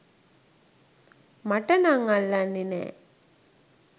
මට නම් අල්ලන්නේ නෑ.